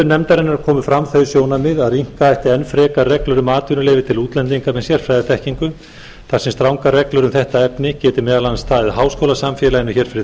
nefndarinnar komu fram þau sjónarmið að rýmka ætti enn frekar reglur um atvinnuleyfi til útlendinga með sérfræðiþekkingu þar sem strangar reglur um þetta efni geti meðal annars staðið háskólasamfélaginu hér fyrir